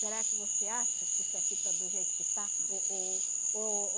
Será que você acha que isso aqui está do jeito que está? Oh oh oh